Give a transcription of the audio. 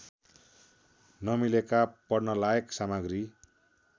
नमिलेका पढ्नलायक सामग्री